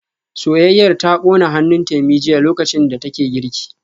Soyayyar ta kona hannun Temi jiya lokacin da take girki